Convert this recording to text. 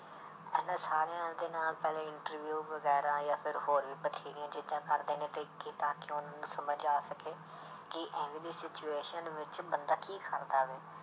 ਹਨਾ ਸਾਰਿਆਂ ਦੇ ਨਾਲ ਪਹਿਲੇ interview ਵਗ਼ੈਰਾ ਜਾਂ ਫਿਰ ਹੋਰ ਵੀ ਬਥੇਰੀਆਂ ਚੀਜ਼ਾਂ ਕਰਦੇ ਨੇ ਤੇ ਕਿੱਦਾਂ ਕਿ ਉਹਨਾਂ ਨੂੰ ਸਮਝ ਆ ਸਕੇ ਕਿ ਇਵੇਂ ਦੀ situation ਵਿੱਚ ਬੰਦਾ ਕੀ ਕਰਦਾ ਵੇ।